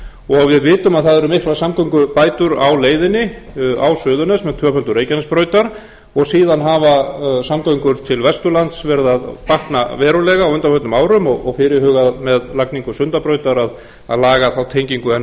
og við vitum að það eru miklar samgöngubætur á leiðinni á suðurnes með tvöföldun reykjanesbrautar og síðan hafa samgöngur til vesturlands verið að batna verulega á undanförnum árum og fyrirhugað með lagningu sundabrautar að laga þá tengingu enn